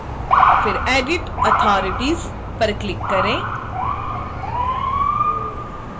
फिर edit authorities पर भी क्लिक करें